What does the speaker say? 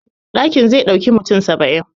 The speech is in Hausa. Ɗakin zai ɗauki mutum saba'in